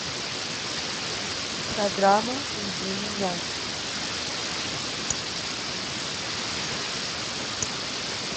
программа жди меня